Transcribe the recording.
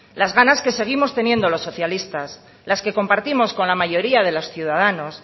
las ganas que seguimos teniendo los socialistas las que compartimos con la mayoría de los ciudadanos